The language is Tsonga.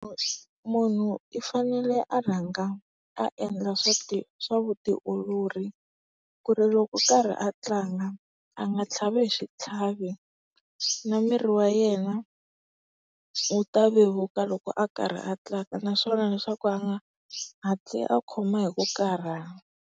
munhu i fanele a rhanga a endla swa ti swa vutiolori ku ri loku kari a tlanga a nga tlhavi hi xitlhavo na miri wa yena wu ta vevuka loko a karhi a tlanga naswona leswaku a nga hatli a khoma hi ku karhala.